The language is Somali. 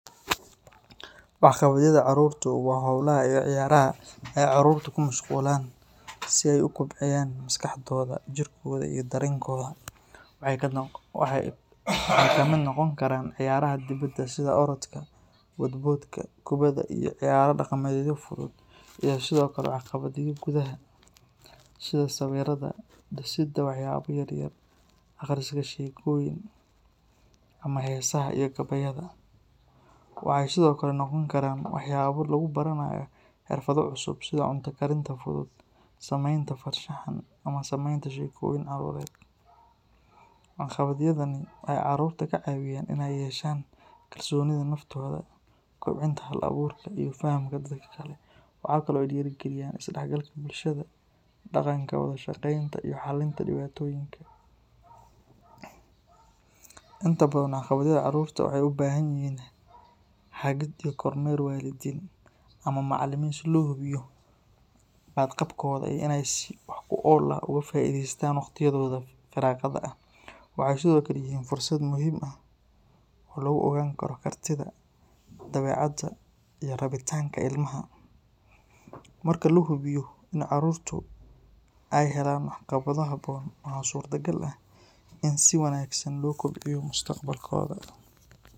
Waxqabadyada carruurtu waa hawlaha iyo ciyaaraha ay carruurtu ku mashquulaan si ay u kobciyaan maskaxdooda, jirkooda iyo dareenkooda. Waxay ka mid noqon karaan ciyaaraha dibadda sida orodka, boodboodka, kubadda iyo ciyaaro dhaqameedyo fudud, iyo sidoo kale waxqabadyada gudaha sida sawiridda, dhisidda waxyaabo yaryar, akhriska sheekooyin, ama heesaha iyo gabayada. Waxay sidoo kale noqon karaan waxyaabo lagu baranayo xirfado cusub sida cunto karinta fudud, sameynta farshaxan ama samaynta sheekooyin carruureed. Waxqabadyadani waxay carruurta ka caawiyaan inay yeeshaan kalsoonida naftooda, kobcinta hal-abuurka iyo fahamka dadka kale. Waxa kale oo ay dhiirrigeliyaan isdhexgalka bulshada, dhaqanka wada shaqeynta iyo xallinta dhibaatooyinka. Inta badan waxqabadyada carruurta waxay u baahan yihiin hagid iyo kormeer waalidiin ama macallimiin si loo hubiyo badqabkooda iyo inay si wax ku ool ah uga faa’iideystaan waqtiyadooda firaaqada ah. Waxay sidoo kale yihiin fursad muhiim ah oo lagu ogaan karo kartida, dabeecadda iyo rabitaanka ilmaha. Marka la hubiyo in carruurta ay helaan waxqabado habboon, waxa suurtagal ah in si wanaagsan loo kobciyo mustaqbalkooda.